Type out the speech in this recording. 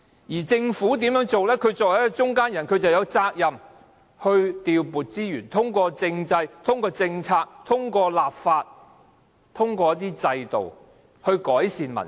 它作為一個中間人，有責任調撥資源，通過政制、政策、立法和制度來改善民生。